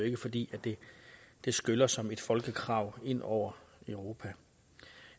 ikke fordi det skyller som et folkekrav ind over europa